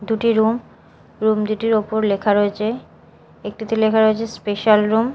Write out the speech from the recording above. দুটি room room দুটির ওপর লেখা রয়েচে একটিতে লেখা রয়েচে স্পেশাল রুম ।